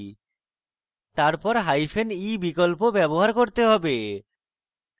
তারপর hyphen e বিকল্প ব্যবহার করতে have